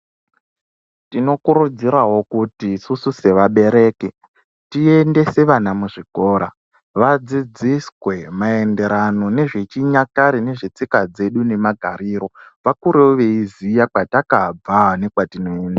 Tinokurudzirwawo kuti isusu sevabereki tiendese vana muzvikora vadzidziswe mayererano nezvichinyakare zvezve tsika dzedu nemagariro vakurewo veiziya kwetakabva nekwatinoenda.